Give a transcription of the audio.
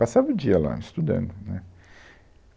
Passava o dia lá, estudando, né?